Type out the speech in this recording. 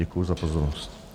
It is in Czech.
Děkuji za pozornost.